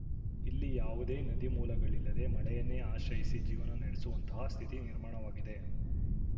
ಇಲ್ಲಿ ಯಾವುದೇ ನದಿಮೂಲಗಳಿಲ್ಲದೇ ಮಳೆಯನ್ನೇ ಆಶ್ರಯಿಸಿ ಜೀವನ ನಡೆಸುವಂತಹ ಸ್ಥಿತಿ ನಿರ್ಮಾಣವಾಗಿದೆ